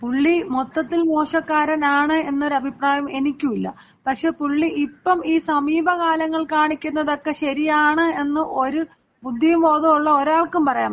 പുള്ളി മൊത്തത്തിൽ മോശക്കാരനാണ് എന്നൊരു അഭിപ്രായം എനിക്കുല്ല. പക്ഷേ പുള്ളി ഇപ്പം ഈ സമീപകാലങ്ങൾ കാണിക്കുന്നതൊക്കെ ശരിയാണ് എന്ന് ഒരു ബുദ്ധിയും ബോധവുമുള്ള ഒരാൾക്കും പറയാൻ പറ്റില്ല.